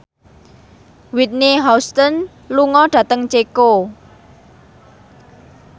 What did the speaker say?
Whitney Houston lunga dhateng Ceko